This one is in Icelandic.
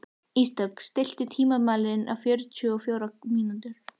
Ísdögg, stilltu tímamælinn á fjörutíu og fjórar mínútur.